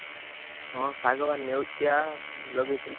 ହଁ ଶାଗ ପରା ଲେଉଟିଆ ଲଗେଇଥିଲି।